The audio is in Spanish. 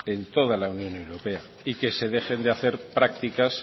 en toda la unión europea y que se dejen de hacer prácticas